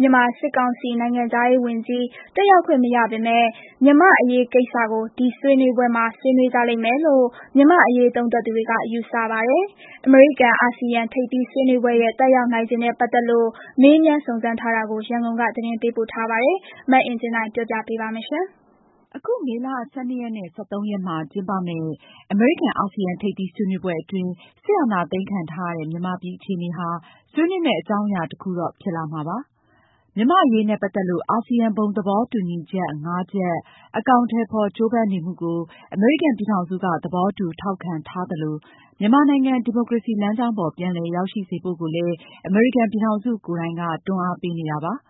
မြန်မာစစ်ကောင်စီ နိုင်ငံခြားရေးဝန်ကြီး တတ်ရောက်ခွင့်မရပေမယ့် မြန်မာ့အရေးကိစ္စကို ဒီဆွေးနွေးပွဲမှာ ဆွေးနွေးကြလိမ့်မယ်လို့ မြန်မာ့အရေးသုံးသပ်သူတွေက ယူဆပါတယ်။ အမေရိကန်-အာဆီယံထိပ်သီးဆွေးနွေးပွဲရဲ့ သက်ရောက်နိုင်ခြေနဲ့ပတ်သက်လို့ ရန်ကုန်က မေးမြန်းစုံစမ်းပေးပို့တဲ့သတင်းကို မအင်ကြင်းနိုင်က တင်ပြပေးထားပါတယ်။ အခု မေလ ၁၂-၁၃ မှာ ကျင်းပမယ့် အမေရိကန်-အာဆီယံထိပ်သီးဆွေးနွေးပွဲအတွင်း စစ်အာဏာသိမ်းခံထားရတဲ့မြန်မာပြည်အခြေအနေဟာ ဆွေးနွေးမယ့်အကြောင်းအရာတခုတော့ဖြစ်လာမှာပါ။ မြန်မာ့အရေးနဲ့ပတ်သက်လို့ အာဆီယံဘုံသဘောတူညီချက် ၅ ချက် အကောင်အထည်ဖော်ကြိုးပမ်းနေမှုကို အမေရိကန်ပြည်ထောင်စုက သဘောတူထောက်ခံထားသလို မြန်မာနိုင်ငံ ဒီမိုကရေစီလမ်းကြောင်းပေါ် ပြန်လည်ရောက်ရှိစေဖို့ကိုလည်း အမေရိကန်ပြည်ထောင်စုကိုယ်တိုင်က တွန်းအားပေးနေတာပါ။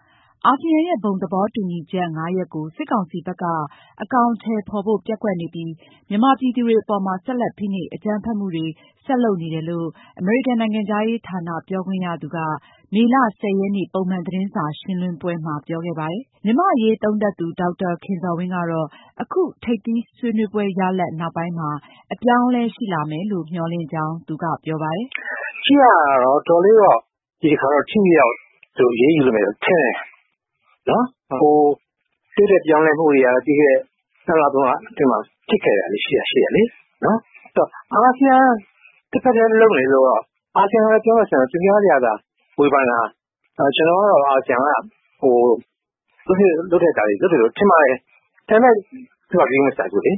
အာဆီယံရဲ့ ဘုံသဘောတူညီချက် ၅ ရပ်ကို စစ်ကောင်စီဘက်က အကောင်အထည်ဖော်ဖို့ ပျက်ကွက်နေပြီး မြန်မာ ပြည်သူတွေ အပေါ်မှာ ဆက်လက် ဖိနှိပ်၊ အကြမ်းဖက်မှုတွေ ဆက်လုပ်နေတယ်လို့ အမေရိကန်နိုင်ငံခြားရေးဌာန ပြောခွင့်ရသူက မေလ ၁၀ ရက်နေ့ ပုံမှန် သတင်းစာရှင်းလင်းပွဲမှာ ပြောခဲ့ပါတယ်။ မြန်မာ့အရေးသုံးသပ်သူ ဒေါက်တာခင်ဇော်ဝင်းကတော့ အခု ထိပ်သီးဆွေးနွေးပွဲရလဒ် နောက်ပိုင်းမှာ အပြောင်းအလဲရှိလာမယ်လို့ မျှော်လင့်တယ်လို့ဆိုပါတယ်။ “ကြည့်ရတာ ဒီတခါတော့ တော်တော်လေးတော့ ထိထိရောက်ရောက် သူတို့ အရေးယူလိမ့်မယ်လို့ ထင်တယ်။ တိုးတက်ပြောင်းလဲမှုတွေကတော့ ပြီးခဲ့တဲ့ နှစ်လ၊ သုံးလအတွင်းမှာ ဖြစ်ခဲ့တာတွေ ရှိတယ်လေ။ အဲဒီတော့ အာဆီယံတဘက်တည်းလုပ်နေလို့တော့...အာဆီယံက ပြောလို့ပြောရတာ သူများတွေကသာ ဝေဖန်တာ။ ကျနော်ကတော့ အာဆီယံက လုပ်သင့်လုပ်ထိုက်တာတွေ လုပ်တယ်လို့ ထင်ပါတယ်။ ဒါပေမယ့် ယူအက်စ်က ဂရုမစိုက်ဘူးလေ။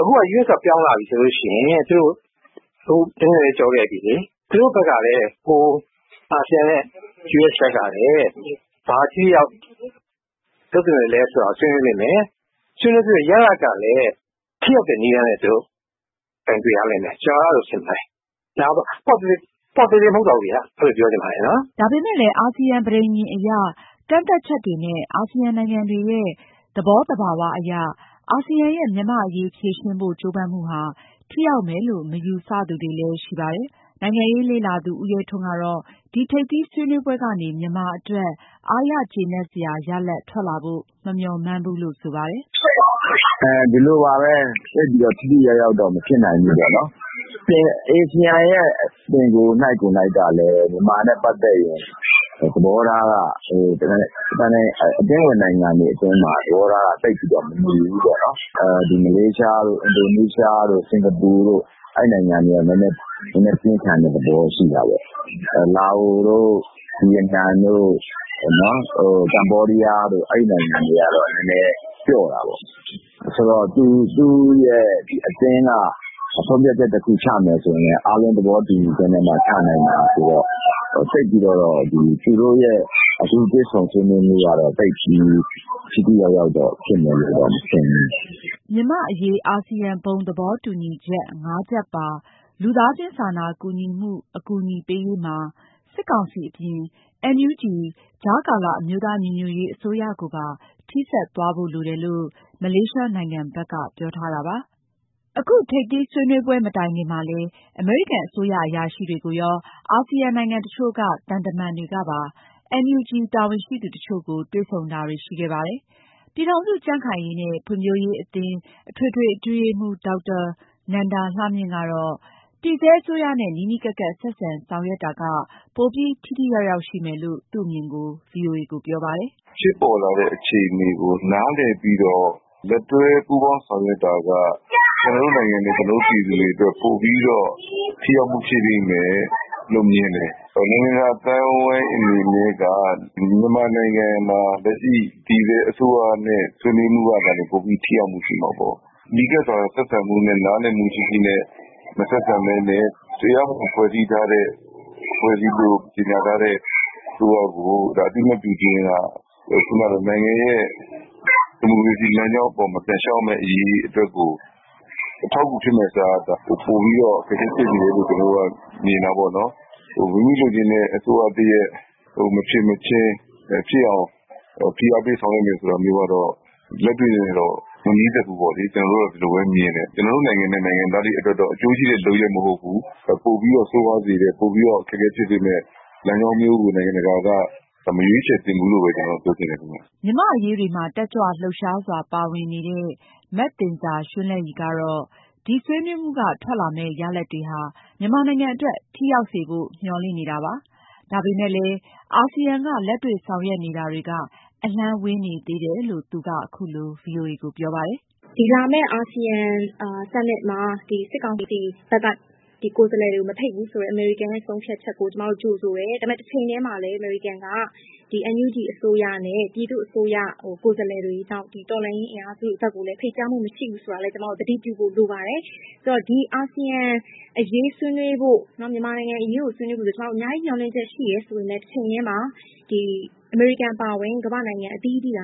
အခု ယူအက်စ်က ပြောင်းလာပြီဆိုလို့ရှိရင် သူတို့....ပြီလေ။ အာဆီယံနဲ့ ယူအက်စ်ဘက်ကလည်း ဘာ ထိထိရောက်ရောက်လုပ်သင့်သလဲဆိုတာကို ဆွေးနွေးလိမ့်မယ်။ ဆွေးနွေးတဲ့ရလဒ်ကလည်း ထိရောက်တဲ့နည်းလမ်းနဲ့ သူတို့ ကိုင်တွယ်ရလိမ့်မယ်။ ကျနော်က အဲလိုထင်ပါတယ်။ ပေါ့သေးသေးမဟုတ်တော့ဘူးပေါ့ဗျာ။ အဲလို ပြောချင်ပါတယ်။” ဒါပေမယ့်လည်း အာဆီယံပဋိဉာဏ်အရ ကန့်သတ်ချက်တွေနဲ့ အာဆီယံနိုင် ငံတွေရဲ့ သဘောသဘာဝအရ အာဆီယံရဲ့ မြန်မာ့အရေးဖြေရှင်းဖို့ ကြိုးပမ်းမှုဟာ ထိရောက်မယ်လို့ မယူဆသူတွေလည်းရှိပါတယ်။ နိုင်ငံရေးလေ့လာသူ ဦးရဲထွန်းကတော့ ဒီ ထိပ်သီးဆွေးနွေးပွဲကနေ မြန်မာအတွက် အားရကျေနပ်စရာ ရလဒ်ထွက်လာဖို့ မမျှော်မှန်းဘူးလို့ ဆိုပါတယ်။ “ဒီလိုပါပဲ။ သိပ်ပြီးတော့ ထိထိရောက်ရောက်တော့ မဖြစ်နိုင်ဘူး။ အာဆီယံကိုယ်နှိုက်ကလည်း မြန်မာနဲ့ပတ်သက်ရင် အသင်းဝင်နိုင်ငံတွေကြားမှာ သဘောထားက သိပ်ပြီးတော့ မညီဘူးပေါ့နော်။ မလေးရှား၊ အင်ဒိုနီးရှား၊ စင်ကာပူတို့ အဲဒီနိုင်ငံတွေက နည်းနည်း ပြင်းထန်တဲ့သဘောထားရှိတာပေါ့။ လာအိုတို့၊ ဗီယက်နမ်တို့၊ ကမ္ဘောဒီးယားတို့ အဲဒီနိုင်ငံတွေကတော့ ပျော့တာပေါ့။ ဆိုတော့ သူ့ရဲ့အတွင်းက ဆုံးဖြတ်ချက်တခုချမယ်ဆိုရင်လည်း အားလုံးသဘောတူညီချက်နဲ့မှ ချနိုင်တာဆိုတော့ သူတို့ရဲ့တွေ့ဆုံဆွေးနွေးမှုကတော့ သိပ်ပြီး ထိထိရောက်ရောက်ဖြစ်မယ်လို့တော့ မထင်ဘူး။” မြန်မာ့အရေးဖြေရှင်းရာမှာ အထူးသဖြင့် မြန်မာ့အရေးအာဆီယံသဘောတူညီချက် ၅ ချက်ပါ လူသားချင်းစာနာကူညီမှုအကူအညီပေးရေးမှာ စစ်ကောင်စီအပြင်၊ NUG ကြားကာလအမျိုးသားညီညွတ်ရေးအစိုးရကိုပါ ထိစပ်သွားဖို့လိုတယ်လို့ မလေးရှားနိုင်ငံဘက်က ပြောထားတာရှိပါတယ်။ အခု ထိပ်သီးဆွေးနွေးပွဲမတိုင်ခင်မှာလည်း အမေရိကန်အစိုးရအရာရှိတွေကိုရော အာဆီယံနိုင်ငံတချို့က သံတမန်တွေကပါ NUG တာဝန်ရှိသူတချို့ကို တွေ့ဆုံတာတွေရှိခဲ့ပါတယ်။ ပြည်ထောင်စုကြံ့ခိုင်ရေးနဲ့ ဖွံ့ဖြိုးရေးအသင်း အထွေထွေအတွင်းရေးမှူး ဒေါက်တာနန္ဒာလှမြင့်ကတော့ တည်ဆဲအစိုးရနဲ့နီးနီးကပ်ကပ် ဆက်ဆံဆောင်ရွက်တာက ပိုပြီး ထိထိရောက်ရောက်ရှိမယ်လို့ သူ့အမြင်ပြောပါတယ်။ “ဖြစ်ပေါ်လာတဲ့အခြေအနေကို နားလည်ပြီးတော့ လက်တွဲပူးပေါင်းဆောင်ရွက်တာက ကျနော်တို့နိုင်ငံနဲ့ ကျနော်တို့ပြည်သူတွေအတွက် ပိုပြီးတော့ ထိရောက်မှု ရှိလိမ့်မယ်လို့ မြင်တယ်။ နိုင်ငံတကာ အသိုင်းအဝိုင်းအနေနဲ့က မြန်မာနိုင်ငံမှာလက်ရှိ တည်ဆဲအစိုးရနဲ့ ဆွေးနွေးမှသာလျှင် ပိုပြီး ထိရောက်မှု ရှိမှာပေါ့။ နီးကပ်စွာဆက်ဆံမှုနဲ့ နားလည်မှုရှိရှိနဲ့ မဆက်ဆံဘဲနဲ့ တရားမဝင်ဖွဲ့စည်းထားတဲ့၊ အဖွဲ့အစည်းလို့ ကြေညာထားတဲ့ အစိုးရကို အသိအမှတ်ပြုခြင်းက နိုင်ငံရဲ့ဒီမိုကရေစီလမ်းကြောင်းပေါ် ပြန်လျှောက်ရမယ့်အရေးကို အထောက်အကူဖြစ်မယ့်အစား ပိုပြီးတော့ အခက်အခဲဖြစ်စေတယ်လု့ိ ကျနော်တို့က မြင်တာပေါ့နော်။ မိမိလိုချင်တဲ့အစိုးရတရပ်မဖြစ်မချင်း ဖြစ်အောင် ဖိအားပေးဆောင်ရွက်မယ်ဆိုတာမျိုးကတော့ လက်တွေ့နဲ့တော့ မနီးစပ်ဘူးပေါ့လေ။ ကျနော်တို့က ဒီလိုပဲမြင်တယ်။ ကျနော်တို့နိုင်ငံနဲ့ နိုင်ငံသားတွေအတွက်တော့ အကျိုးရှိတဲ့လုပ်ရပ်မဟုတ်ဘူး။ ပိုပြီးတော့ ဆိုးဝါးစေမယ့်၊ ပိုပြီးတော့ အခက်အခဲဖြစ်စေမယ့်လမ်းကြောင်းမျိုးကို နိုင်ငံတကာက မရွေးခြယ်သင့်ဘူးလို့ပဲ ပြောချင်တယ်ခင်ဗျ။” မြန်မာ့အရေးတွေမှာ တက်ကြွလှုပ်ရှားစွာပါဝင်လှုပ်ရှားနေတဲ့ မသဉ္ဇာရွှန်းလဲ့ရည်ကတော့ ဒီဆွေးနွေးမှုက ထွက်လာမယ့် ရလဒ်တွေဟာ မြန်မာနိုင်ငံအတွက် ထိရောက်စေဖို့ သူကမျှော်လင့်ပါတယ်။ ဒါပေမယ့်လည်း အာဆီယံက လက်တွေ့ဆောင်ရွက်နေတာတွေက အလှမ်းဝေးနေသေးတယ်လို့ ပြောပါတယ်။ “လာမယ့် အာဆီယံ summit မှာ စစ်ကောင်စီဘက်က ကိုယ်စားလှယ်တွေကို မဖိတ်ဘူးဆိုတဲ့ အမေရိကန်ရဲ့ဆုံးဖြတ်ချက်ကို ကျမတို့ ကြိုဆိုတယ်။ ဒါပေမယ့် တချိန်တည်းမှာလည်း အမေရိကန်က NUG အစိုးရနဲ့ ပြည်သူ့အစိုးရ ကိုယ်စားလှယ်တွေ နောက် တော်လှန်ရေးအင်အားစုတွေဘက်ကိုလည်း ဖိတ်ကြားမှုမရှိဘူးဆိုတာကိုလည်း ကျမတို့ သတိပြုဖို့လိုပါတယ်။..ဆိုတော့ ဒီအာဆီယံအရေး ဆွေးနွေးဖို့၊ မြန်မာနိုင်ငံအရေးကို ဆွေးနွေးဖို့ ကျမတို့ အများကြီးမျှော်လင့်ချက်ရှိတယ်ဆိုပေမယ့် တချိန်တည်းမှာ အမေရိကန်အပါအဝင် ကမ္ဘာ့နိုင်ငံအသီးသီးက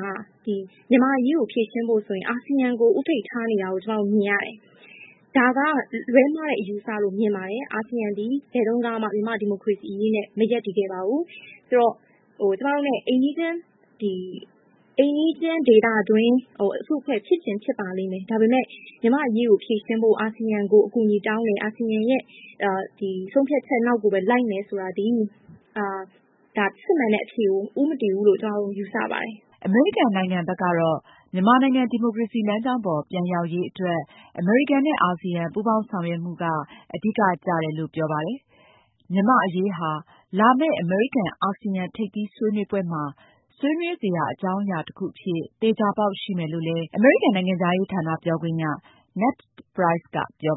မြန်မာ့အရေးကိုဖြေရှင်းဖို့ဆိုရင် အာဆီယံကို ဦးထိပ်ထားနေတာကို ကျမတို့မြင်ရတယ်။ ဒါက လွဲမှားတဲ့အယူအဆလို့မြင်ပါတယ်။ အာဆီယံသည် ဘယ်တုန်းကမှ မြန်မာ့ဒီမိုကရေစီအရေးနဲ့မရပ်တည်ခဲ့ပါဘူး။ ဆိုတော့ ကျမတို့နဲ့အိမ်နီးချင်း - ဒေသတွင်း အစုအဖွဲ့ဖြစ်ချင်ဖြစ်ပါလိမ့်မယ်၊ ဒါပေမယ့် မြန်မာ့အရေးကိုဖြေရှင်းဖို့ အာဆီယံကိုအကူအညီတောင်းတယ်။ အာဆီယံရဲ့ဆုံးဖြတ်ချက်နောက်ကိုပဲလိုက်မယ်ဆိုတာသည် စစ်မှန်တဲ့အဖြေကို ဦးမတည်ဘူးဆိုတာ ကျမတို့ ယူဆပါတယ်။” အမေရိကန်နိုင်ငံဘက်ကတော့ မြန်မာနိုင်ငံ ဒီမိုကရေစီ လမ်းကြောင်းပေါ် ပြန်ရောက်ရေး အတွက် အမေရိကန်နဲ့ အာဆီယံ ပူးပေါင်းဆောင်ရွက်မှုက အဓိက ကျတယ်လို့လည်း သူက ပြောပါတယ်။ မြန်မာ့ အရေးဟာ လာမယ့် အမေရိကန် အာဆီယံ ထိပ်သီး ဆွေးနွေးပွဲမှာ ဆွေးနွေးစရာ အကြောင်းအရာတခုအဖြစ် သေချာပေါက် ရှိမယ်လို့လည်း အမေရိကန် နိုင်ငံခြားရေး ဌာန ပြောခွင့်ရ Ned Price က ပြော